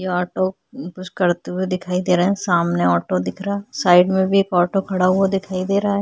ये ऑटो अम्म कुछ करते हुए दिखाई दे रहा है सामने ऑटो दिख रहा है साइड में भी एक ऑटो खड़ा हुआ दिखाई दे रहा है।